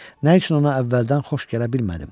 Nə üçün ona əvvəldən xoş gələ bilmədim?